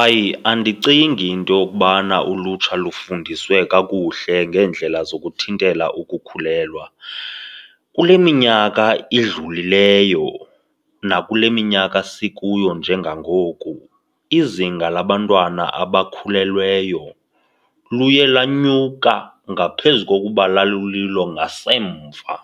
Hayi, andicingi into yokubana ulutsha lufundiswe kakuhle ngeendlela zokuthintela ukukhulelwa. Kule minyaka idlulileyo nakule minyaka sikuyo njengangoku izinga labantwana abakhulelweyo luye lanyuka ngaphezu kokuba lalulilo ngasemva.